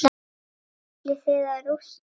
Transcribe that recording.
Ætlið þið að rústa þeim?